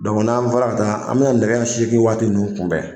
n'an bɔra ka taa an bina nɛgɛ ɲɛ segin waati nunnu kunbɛn